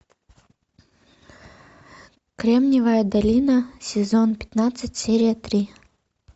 кремниевая долина сезон пятнадцать серия три